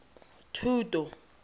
thuto